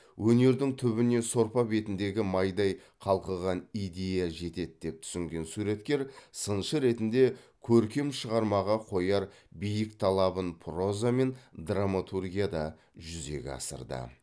өнердің түбіне сорпа бетіндегі майдай қалқыған идея жетеді деп түсінген суреткер сыншы ретінде көркем шығармаға қояр биік талабын проза мен драматургияда жүзеге асырды